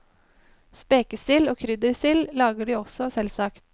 Spekesild og kryddersild lager de også selvsagt.